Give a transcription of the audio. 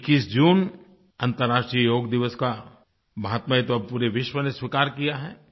21 जून अन्तर्राष्ट्रीय योग दिवस का माहात्म्य तो अब पूरे विश्व ने स्वीकार किया है